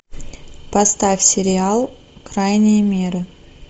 поставь сериал крайние меры